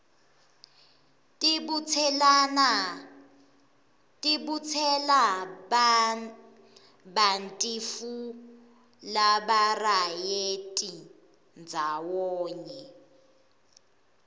tibutselabantifu labarayenti ndzawanye